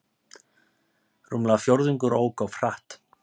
Rúmlega fjórðungur ók of hratt